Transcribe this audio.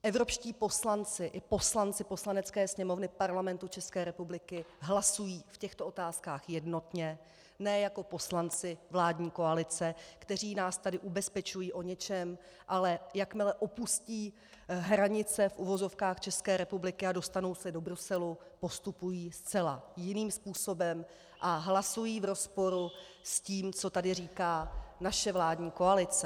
Evropští poslanci i poslanci Poslanecké sněmovny Parlamentu České republiky hlasují v těchto otázkách jednotně, ne jako poslanci vládní koalice, kteří nás tady ubezpečuji o něčem, ale jakmile opustí hranice - v uvozovkách - České republiky a dostanou se do Bruselu, postupují zcela jiným způsobem a hlasují v rozporu s tím, co tady říká naše vládní koalice.